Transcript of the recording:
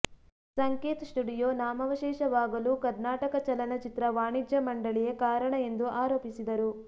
ಸಂಕೇತ್ studio ನಾಮವಶೇಷವಾಗಲೂ ಕರ್ನಾಟಕ ಚಲನಚಿತ್ರ ವಾಣಿಜ್ಯ ಮಂಡಳಿಯೇ ಕಾರಣ ಎಂದು ಆರೋಪಿಸಿದರು